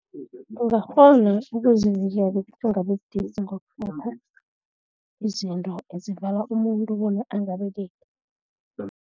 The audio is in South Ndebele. Ungakghona ukuzivikela ukuthi ungabi sidisi izinto ezivala umuntu bona angabelethi.